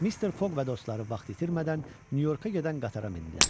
Mr. Foq və dostları vaxt itirmədən Nyu-Yorka gedən qatara mindilər.